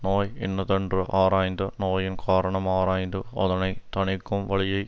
நோய் இன்னதென்று ஆராய்ந்து நோயின் காரணம் ஆராய்ந்து அதனை தணிக்கும் வழியையும்